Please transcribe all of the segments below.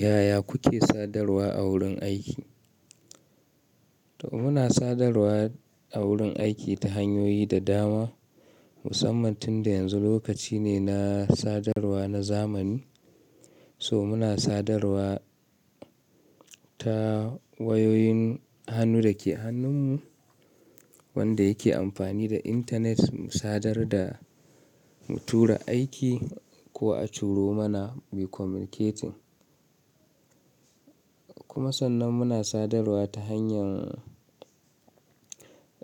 Yaya kuke sadarwa a wurin aiki? To muna sadarwa a wurin aiki ta hanyoyi da dama. Musamman tun da yanzu lokaci ne na sadarwa na zamani. So muna sadarwa ta wayoyin hannu dake hannunmu wanda yake amfani da intanet mu sadar da mu tura aiki ko a turo mana muyi communicating. Kuma sannan muna sadarwa ta hanyar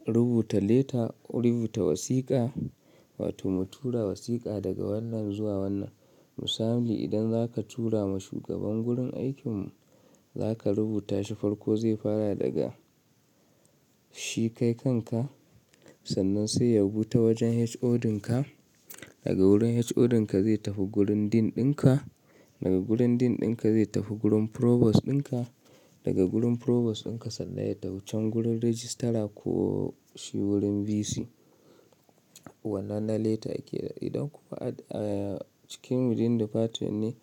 rubuta leta ko rubuta wasiƙa wato mu tura wasiƙa daga wannan zuwa wannan. Misali idan zaka tura ma shugaban gurin aikinmu zaka rubuta shi farko zai fara daga shi kai kanka. Sannan sai ya rubuta wajen HOD dinka daga wurin HOD dinka zai tafi gurin Dean ɗinka daga gurin Dean ɗinka zai tafi gurin Provost dinka daga gurin Provost ɗinka sannan ya ya tafi can gurin Registra ko shi wurin VC. Wannan na leta kenan idan kuma a cikin within department ne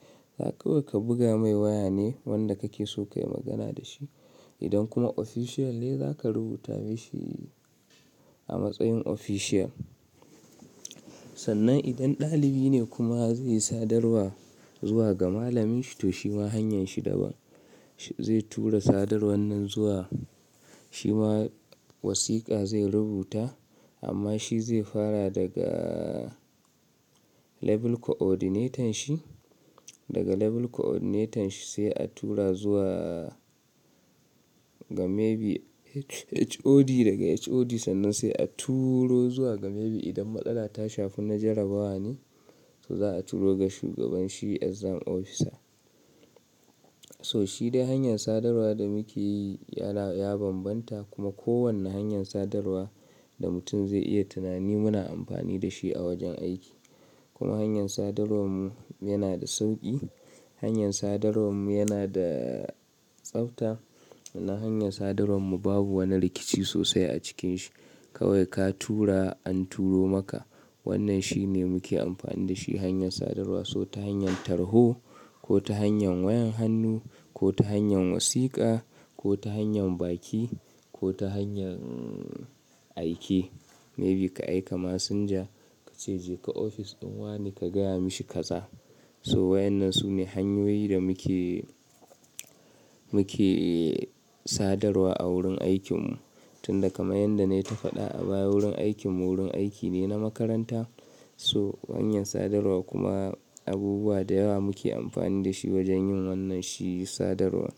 kawai ka buga mai waya ne wanda kake so kayi magana da shi. Idan kuma official ne zaka rubuta mashi a matsayin official. Sannan idan ɗalibi ne kuma zai sadarwa zuwa ga malaminshi to shi ma hanyar shi daban. Zai tura sadar wannan zuwa shi ma wasiƙa zai rubuta amma shi zai fara daga level coordinatorn shi daga level coordinator shi sai a tura zuwa ga maybe HOD daga HOD sannan sai a turo zuwa ga maybe idan matsala ta shafi na jarabawa ne so za a turo ga shugaban shi exam officer. So shi dai hanyar sadarwa da muke yi ya bambanta kuma kowane hanyar sadarwa da mutum zai iya tunani muna amfani da shi a wajen aiki. Kuma hanyar sadarwar mu yana da sauƙi hanyar sadarwar mu yana da tsafta na hanyar sadarwar mu babu wani rikici sosai a cikin shi. Kawai ka tura an turo maka wannan shine muke amfani da shi hanyar sadarwa so ta hanyar tarho ko ta hanyar wayan hannu ko ta hanyar wasiƙa ko ta hanyar baki ko ta hanyar aiki. Maybe ka aika masinja kace je ka ofis ɗin wane ka gaya mashi kaza. So wa'yannan su ne hanyoyin da muke, muke sadarwa a wurin aikinmu. Tun da kamar yanda na yi ta faɗa a baya wurin aikinmu wurin aiki ne na makaranta. So hanyar sadarwa kuma abubuwa da yawa muke amfani da shi wajen yin wannan shi sadarwa.